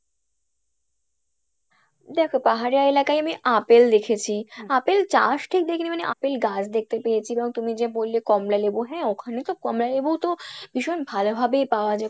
দেখো পাহাড়িয়া এলাকায় আমি আপেল দেখেছি আপেল চাষ ঠিক দেখিনি মানে আপেল গাছ দেখতে পেয়েছি এবং তুমি যে বললে কমলা লেবু হ্যাঁ ওখানে তো কমলা লেবু তো ভীষণ ভালো ভাবেই পাওয়া যায়